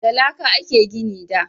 Da laƙa a ke gini da